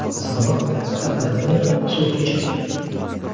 Qizamiq, skarlatina, suvchechak.